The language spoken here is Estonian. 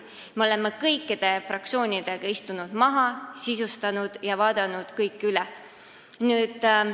Me oleme kõikide fraktsioonidega maha istunud, dokumenti sisustanud ja kõik üle vaadanud.